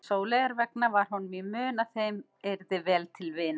Sóleyjar vegna var honum í mun að þeim yrði vel til vina.